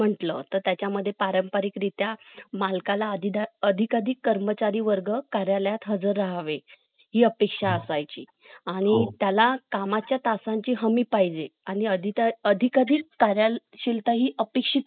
कुशासनामुळे झाला मित्रभांडाचे कारण माहित नाही पण बिंदुसारचा मुलगा अशोक याने तो भडकवला होता बिंदूसारचा मृत्यू इसवी सन पूर्व तीन